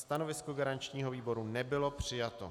Stanovisko garančního výboru nebylo přijato.